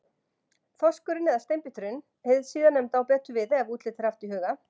Þorskurinn eða Steinbíturinn, hið síðarnefnda á betur við ef útlitið er haft í huga.